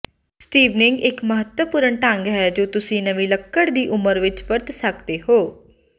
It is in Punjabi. ਸਟੀਵਨਿੰਗ ਇੱਕ ਮਹੱਤਵਪੂਰਨ ਢੰਗ ਹੈ ਜੋ ਤੁਸੀਂ ਨਵੀਂ ਲੱਕੜ ਦੀ ਉਮਰ ਵਿੱਚ ਵਰਤ ਸਕਦੇ ਹੋ